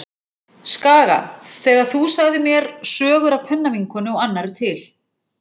Skaga þegar þú sagðir mér sögur af pennavinkonu og annarri til.